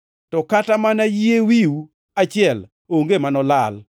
To kata mana yie wiu achiel onge manolal.